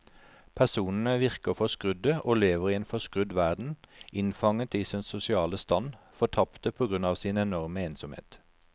Personene virker forskrudde og lever i en forskrudd verden, innfanget i sin sosiale stand, fortapte på grunn av sin enorme ensomhet.